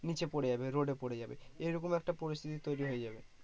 নিচে পরে যাবে road এ পরে যাবে এরকম একটা পরিস্থিতি তৈরী হয়ে যাবে।